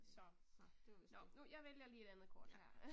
Så, det var vist det. Ja